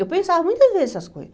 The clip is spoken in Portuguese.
Eu pensava muitas vezes essas coisas.